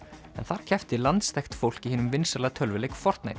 en þar keppti landsþekkt fólk í hinum vinsæla tölvuleik